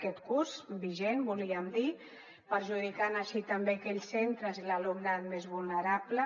aquest curs vigent volíem dir perjudicant així també aquells centres i l’alumnat més vulnerable